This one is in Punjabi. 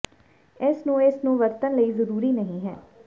ਇਸ ਨੂੰ ਇਸ ਨੂੰ ਵਰਤਣ ਲਈ ਜ਼ਰੂਰੀ ਨਹੀ ਹੈ